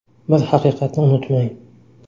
Bir haqiqatni unutmang!